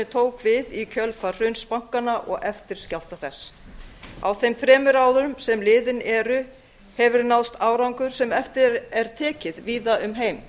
tók við í kjölfar hruns bankanna og eftirskjálfta þess á þeim þremur árum sem liðin hefur náðst árangur sem eftir er tekið víða um heim